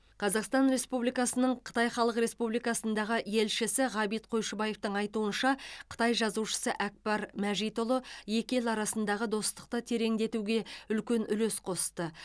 қазақстан республикасының қытай халық республикасындағы елшісі ғабит қойшыбаевтың айтуынша қытай жазушысы әкпар мәжитұлы екі ел арасындағы достықты тереңдетуге үлкен үлес қосты